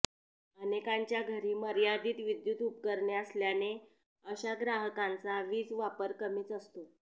अनेकांच्या घरी मर्यादित विद्युत उपकरणे असल्याने अशा ग्राहकांचा वीज वापर कमीच असतो